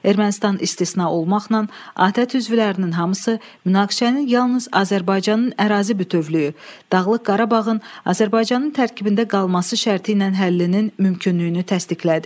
Ermənistan istisna olmaqla, ATƏT üzvlərinin hamısı münaqişənin yalnız Azərbaycanın ərazi bütövlüyü, Dağlıq Qarabağın Azərbaycanın tərkibində qalması şərti ilə həllinin mümkünlüyünü təsdiqlədi.